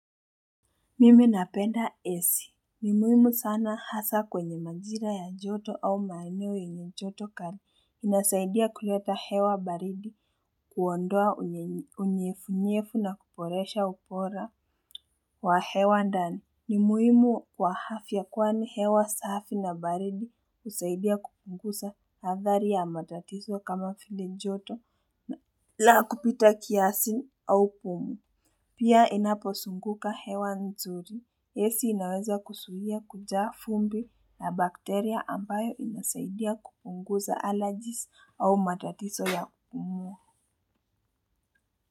Mimi napenda ac. Ni muhimu sana hasa kwenye majira ya joto au maeneo yenye joto kali. Inasaidia kuleta hewa baridi kuondoa unyefunyefu na kuboresha ubora wa hewa ndani. Ni muhimu kwa afya kwani hewa safi na baridi husaidia kupunguza athari ya matatizo kama vile joto na kupita kia au pumu. Pia inapozunguka hewa nzuri. Ac inaweza kuzuia kujaa vumbi na bakteria ambayo inasaidia kupunguza allergies au matatizo ya kupumua.